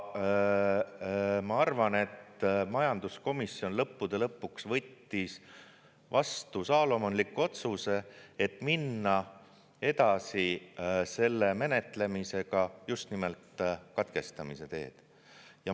Ma arvan, et majanduskomisjon lõppude lõpuks võttis vastu saalomonliku otsuse, et minna edasi selle menetlemisega just nimelt katkestamise teed.